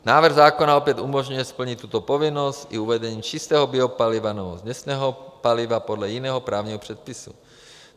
Návrh zákona opět umožňuje splnit tuto povinnost i uvedením čistého biopaliva nebo směsného paliva podle jiného právního předpisu.